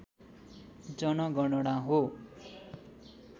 जनगणना हो